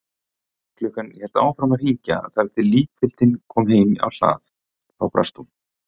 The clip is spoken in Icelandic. Klukkan hélt áfram að hringja þar til líkfylgdin kom heim á hlað, þá brast hún.